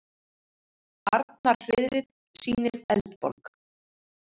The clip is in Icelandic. Arnarhreiðrið sýnir Eldborg